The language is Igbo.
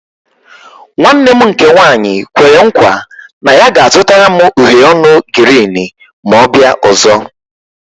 Nwanne nne m nke nwaanyị kwere nkwa na ya ga-azụtara m uhiè ọnụ girini ma ọ bịa ọzọ